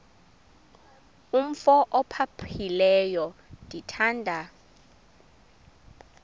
umf ophaphileyo ndithanda